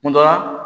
Kun dɔ la